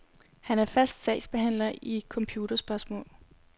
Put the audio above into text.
Han er fast sagsbehandler i computerspørgsmål.